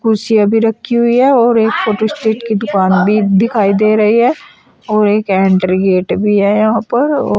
कुर्सी भी रखी हुई है और एक फोटो स्टेट की दुकान भी दिखाई दे रही है और एक एंट्री गेट भी है यहां पर औ --